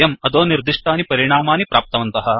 वयम् अधोनिर्दिष्टानि परिणामानि प्राप्तवन्तः